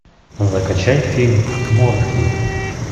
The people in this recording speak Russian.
закачай фильм морфий